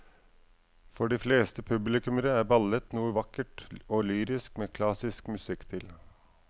For de fleste publikummere er ballett noe vakkert og lyrisk med klassisk musikk til.